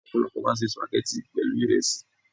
Ọ̀pọ̀lọpọ̀ máa ń se Sùpàgẹ́tì pẹ̀lú ìresí.